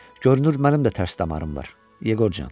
Görünür, mənim də tərs damarım var, Yeqorcan.